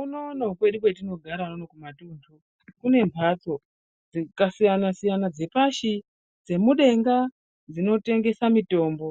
Unono kwedu kwetinogara unono kumatundu kune mbatso dzakasiyana siyana dzepashi dzemudenga dzinotengesa mitombo